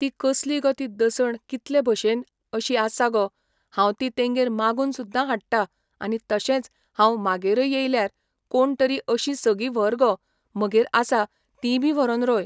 ती कसली गो ती दसण कितलें भशेन अशीं आसा गो हांव ती तेंगेर मागून सुद्दां हाडटा आनी तशेंच हांव म्हागेरय येयल्यार कोण तरी अशीं सगी व्हर गो म्हगेर आसा तीं बी व्हरोन रोय